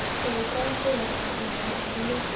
þegar ég brá símanum mínum upp með myndinni af